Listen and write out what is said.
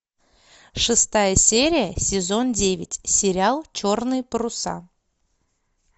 шестая серия сезон девять сериал черные паруса